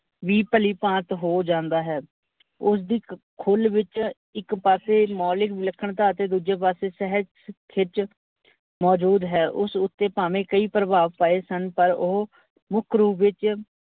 ਵੀ ਭਲੀਭਾਂਤ ਹੋ ਜਾਂਦਾ ਹੈ, ਉਸਦੀ ਖੁੱਲ ਵਿੱਚ ਇੱਕ ਪਾਸੇ ਮੋਲੀਕ ਵਿਨਖਣਤਾ ਤੇ ਦੂਜੇ ਪਾਸੇ ਸਹਿਜ ਖਿੱਚ ਮੋਜੂਦ ਹੈ। ਉਸ ਉੱਤੇ ਭਾਵੇ ਕਈ ਭਰਵਾਵ ਪਏ ਸਨ, ਪਰ ਓਹੋ ਮੁੱਖ ਰੂਪ ਵਿੱਚ ਵੀ ਭਲੀਭਾਂਤ ਹੋ ਜਾਂਦਾ ਹੈ।